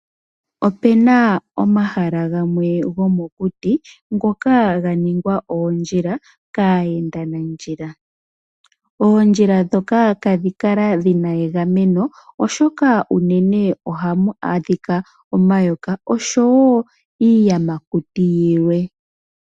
Opena omahala gamwe gomokuti ngoka ganingwa oondjila kaayendi nandjila. Oondjila ndhika ihadhikala dhina egameno oshoka ohamukala omayoka nosho woo iiyamakuti yilwe.